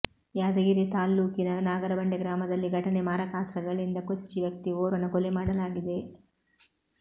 ಯಾದಗಿರಿ ತಾಲ್ಲೂಕಿನ ನಾಗರಬಂಡೆ ಗ್ರಾಮದಲ್ಲಿ ಘಟನೆ ಮಾರಾಕಾಸ್ತ್ರಗಳಿಂದ ಕೊಚ್ಚಿ ವ್ಯಕ್ತಿ ಓರ್ವನ ಕೊಲೆ ಮಾಡಲಾಗಿದೆ